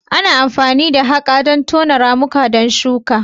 Ana amfani da haƙa don tono ramuka don shuka.